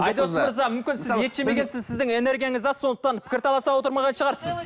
айдос мырза мүмкін сіз ет жемегенсіз сіздің энергияңыз аз сондықтан пікір таласа отырмаған шығарсыз